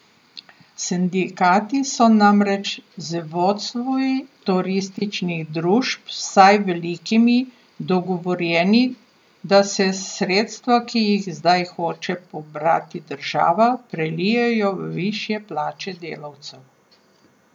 Sindikati so namreč z vodstvi turističnih družb, vsaj velikimi, dogovorjeni, da se sredstva, ki jih zdaj hoče pobrati država, prelijejo v višje plače delavcev.